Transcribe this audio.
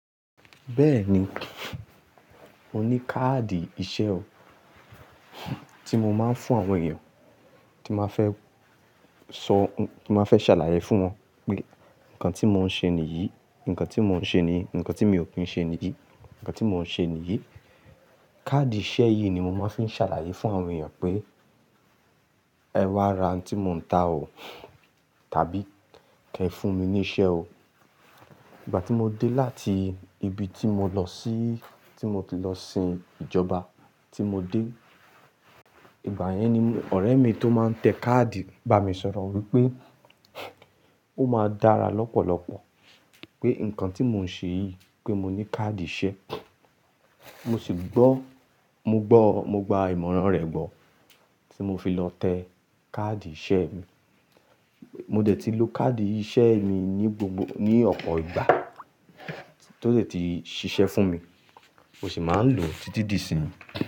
Bẹ́ẹ̀ni, mo ní káàdì iṣẹ́ o. Tí mo máa ń fún àwọn èèyàn, tí máa fẹ́ sọ, tí máa fẹ́ ṣàlàyé fún wọn pé nǹkan tí mò ń ṣe nìyí, nǹkan tí mò ń ṣe nìyí, nǹkan tí mi ò kí ń ṣe nìyí, nǹkan tí mò ń ṣe nìyí. Káàdì iṣẹ́ yìí ni mo máa ń fi ṣàlàyé fún àwọn èèyàn pé ẹwá ra tí mò ń ta o tàbí kí ẹ fún mi ní iṣẹ́ o. Ìgbà tí mo dé láti ibi tí mo lọ sí, tí mo ti lọ sin ìjọba tí mo dé, ìgbà yẹn ni ọ̀rẹ́ mi tó máa tẹ káàdì bá mi sọ̀rọ̀ wípé ó máa dára lọ́pọ̀lọpọ̀ pé nǹkan tí mò ń ṣe yìí pé mo ní káàdì iṣẹ́. Mo sì gbọ́, mo gbọ́, mo gba ìmọ̀ràn rẹ̀ gbọ́ tí mo fi lọ tẹ káàdì iṣẹ́ mi. Mo dẹ̀ ti lo káàdì iṣẹ́ mi ní gbogbo, ní ọ̀pọ̀ ìgbà tó ti ṣiṣẹ́ fún mi. Mó sì máa ń lò títí di ìsín.